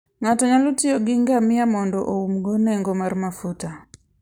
Ng'ato nyalo tiyo gi ngamia mondo oumgo nengo mar mafuta.